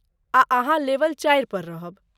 आ अहाँ लेवल चारि पर रहब।